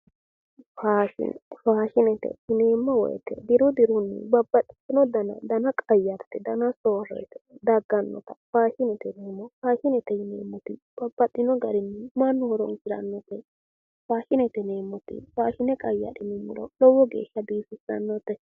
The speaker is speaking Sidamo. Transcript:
Faashine, faashinete yineemmoti diru dirunni babbaxitino danni danna qayarite danna soorite daganotta faashinete yineemmo, faashinete yineemmo woyte babbaxino gari mannu horonsiranotta ,faashinete yineemmo woyte hidhine qayadhiniro lowo geeshsha biifanote